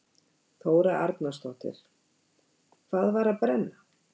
Þóra Arnórsdóttir: Hvað var að brenna?